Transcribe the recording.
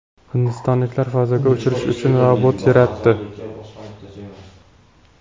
Hindistonliklar fazoga uchirish uchun robot yaratdi.